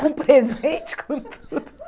Com presente, com tudo.